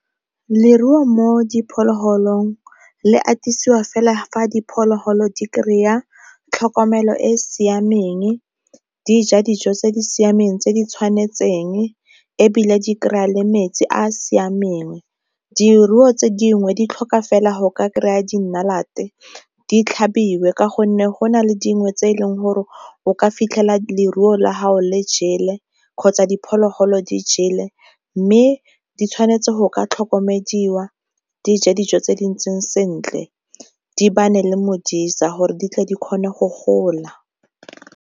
Leruo mo diphologolong le atolosiwa fela fa diphologolo di kry-a tlhokomelo e e siameng, dija dijo tse di siameng tse di tshwanetseng ebile di kry-a le metsi a a siameng. Diruo tse dingwe di tlhoka fela ga o ka kry-a dinalate di tlhabiwe ka gonne go na le dingwe tse e leng gore o ka fitlhela leruo la gago le jele kgotsa diphologolo di jele. Mme di tshwanetse go ka tlhokomedi fiwa dija dijo tse di ntseng sentle di le modisa gore di tle di kgone go gola.